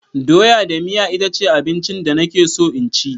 Doya da miya itace abincin da nake so in ci.